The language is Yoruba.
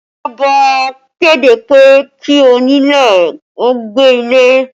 Ìjọba kéde pé kí onílé ó gbé ilé